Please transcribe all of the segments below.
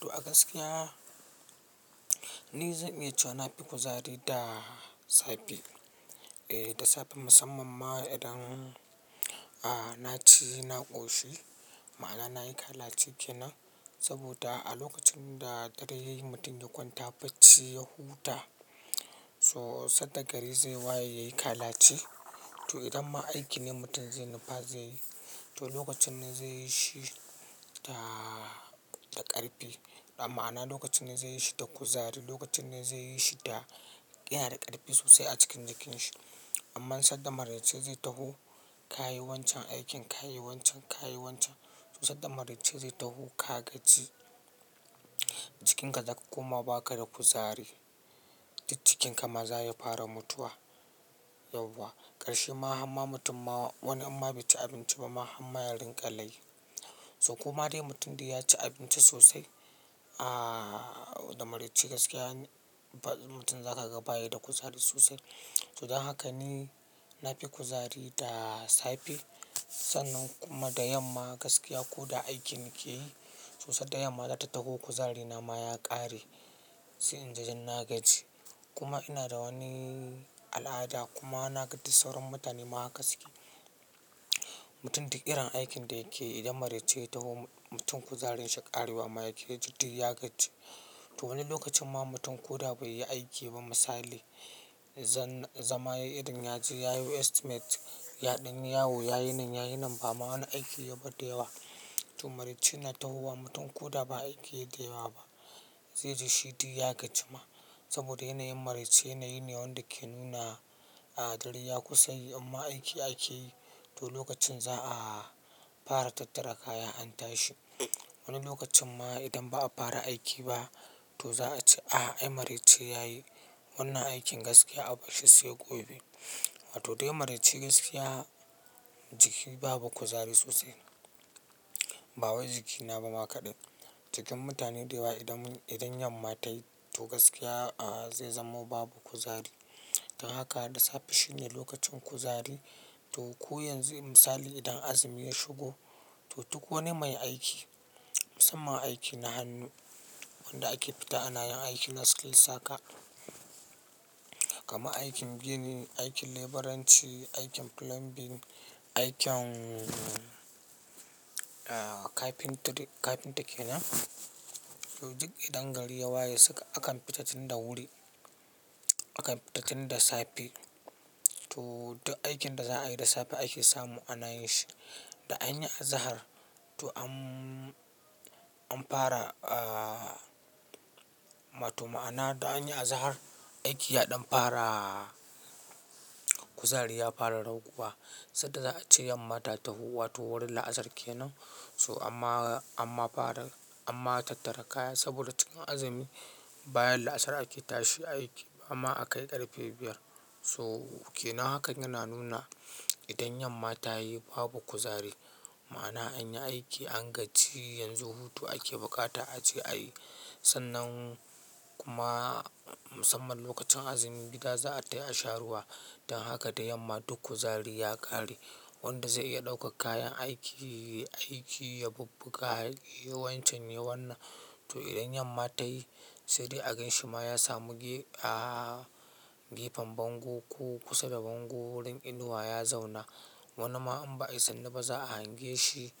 To a gaskiya ni zan iya cewa na fi kuzari da safe. Eh da safe musamman ma idan na ci, na ƙoshi ma'ana nayi kalaci kenan saboda a lokacin da dare yayi mutum ya kwanta bacci ya huta so sadda gari zai waye yayi kalaci to idan ma aikin ne mutum zai nufa zaiyi to lokacin nan zai yi shi da ƙarfi ma'ana lokacin nan zai yi shi da kuzari, lokacin nan zai yi shi da, yana da ƙarfi sosai a cikin jikin shi. Amman sadda maraice zai taho ka yi wancan aikin, ka yi wancan, ka yi wancan to sadda maraice zai taho ka gaji jikin ka zaka koma ba ka da kuzari duk jikinka ma za ya fara mutuwa yauwa. Karshe ma hamma mutum ma wani in ma bai ci abinci bama hamma ya dinga layi. To koma dai mutum dai ya ci abinci sosai da maraice gaskiya mutum za ka ga baya da kuzari sosai. To don haka ni na fi kuzari da safe sannan kuma da yamma gaskiya ko da aikin nake yi so sadda yamma zata taho kuzarina ma ya ƙare sai in ji duk na gaji kuma ina da wani al'ada kuma na ga duk sauran mutane ma haka suke. Mutum duk irin aikin da yake yi idan maraice ya taho mutum kuzarinshi ƙarewa ma yake yaji duk ya gaji. To wani lokacin ma mutum ko da bai yi aiki ba misali zama yayi irim yaje yayo estimate yaɗan yi yawo yayi nan yayi nan ba ma wani aiki yayi ba dayawa. To maraice na tahowa mutum ko da ba aiki yake yi da yawa ba zai ji shi duk ya gaji ma saboda yanayin maraice yanayi ne wanda ke nuna dare ya kusa yi inma aiki ake yi to lokacin za a fara tattara kaya an tashi. Wani lokacin ma idan ba a fara aiki ba to za a ce a'a ai maraice yayi wannan aikin gaskiya a barshi sai gobe. To dai maraice gaskiya jiki babu kuzari sosai ba wai jikina ba ma kaɗai jikin mutane da yawa idan yamma tayi to gaskiya zai zamo babu kuzari. Don haka da safe shine lokacin kuzari to ko yanzu misali idan azumi ya shigo to duk wani mai aiki musamman aiki na hannu wanda ake fita ana yin aiki na skills haka kamar aikin gini, aikin leburanci, aikin plumbing, aikin carpentry carpenter kenan to duk idan gari ya waye suka akan fita tun da wuri akan fita tun da safe to duk aikin da za a yi da safe ake samu ana yin shi. Da an yi azahar to an fara wato ma'ana da an yi azahar aiki yaɗon fara kuzari ya fara raguwa sadda za a ce yamma ta taho wato wurin la'asar kenan so amma fara amma tattara kaya saboda cikin azumi bayan la'asar ake tashi aiki amma akai ƙarfe biyar. So kenan hakan yana nuna idan yamma ta yi babu kuzari ma'ana an yi aiki an gaji yanzu hutu ake bukata a je a yi sannan kuma musamman lokacin azumi gida za a tafi a sha ruwa don haka da yamma duk kuzari ya ƙare wanda zai iya ɗauka kayan aiki aiki ya babbaka yiwancin yi wannan to idan yamma ta yi saidai a ganshi ma ya samu gefen bango ko kusa da bango wurin inuwa ya zauna wani ma in ba ayi sannu ba za a hange shi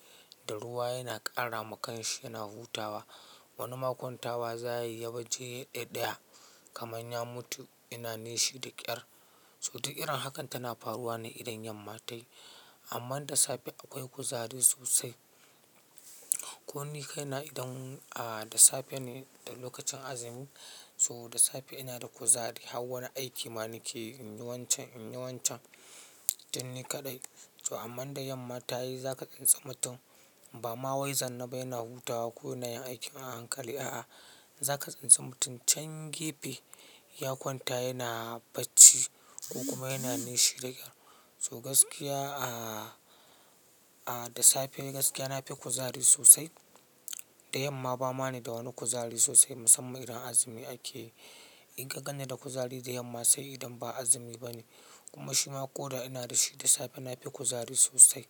da ruwa yana ƙara ma kan shi yana hutawa wani ma kwantawa za ya yi ya baje ɗaɗɗaya kamar ya mutu ina nishi da ƙyar. So duk irin hakan tana faruwa ne idan yamma ta yi. Amma da safe akwai kuzari sosai. Ko ni kai na idan da safe ne lokacin azumi so da safe ina da kuzari hau wani aiki ma nake inyi wancan, inyi wancan tduk ni kaɗai. So amma da yamma ta yi za ka tsintsi mutum ba ma wai zannaba yana hutawa ko yana yin aiki ma a hankali a'a za ka tsintsi mutum can gefe ya kwanta yana bacci kuma yana nishi da ƙyar. So gaskiya da safe gaskiya na fi kuzari sosai da yamma ba ma ni da wani kuzari sosai musamman idan azumi ake yi. In ganni da kuzari da yamma sai idan ba azumi ba ne kuma shi ma ko da ina da shi da safe na fi kuzari sosai.